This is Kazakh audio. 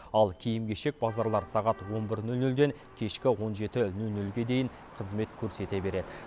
ал киім кешек базарлары сағат он бір нөл нөлден кешкі он жеті нөл нөлге дейін қызмет көрсете береді